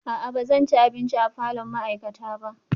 A'a ba zan ci abinci a falon ma'aikata ba